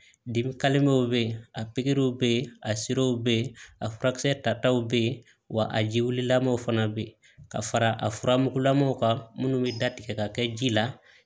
Dimi bɛ yen a pikiriw bɛ yen a siraw bɛ yen a furakisɛ tataw bɛ yen wa a jiwlilamaw fana bɛ yen ka fara a furamugulamaw ka minnu bɛ da tigɛ ka kɛ ji la